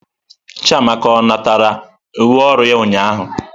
Chiamaka ọ natara uwe ọrụ ya ụnyahụ?